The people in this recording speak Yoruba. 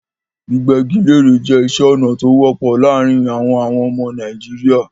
Gbígbẹ́ igi léèrè jẹ́ iṣẹ́ ọnà tó wọ́pọ̀ láàárin àwọn àwọn ọmọ Nàìjíríà.